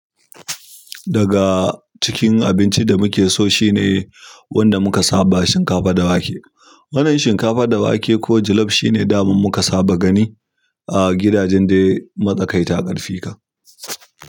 Daga cikin abincin da muke so shine wanda muka saba shinkafa da wake. Wannan shinkafa da wake ko jollof shine daman muka saba gani a gidajen dai matsakaita ƙarfi ka.